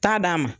Taa d'a ma